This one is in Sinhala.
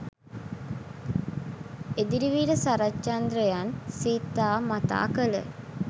එදිරිවීර සරච්චන්ද්‍රයන් සිතා මතා කළ